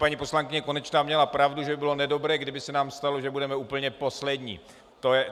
Paní poslankyně Konečná měla pravdu, že by bylo nedobré, kdyby se nám stalo, že budeme úplně poslední.